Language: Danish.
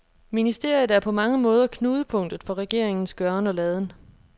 Ministeriet er på mange måder knudepunktet for regeringens gøren og laden.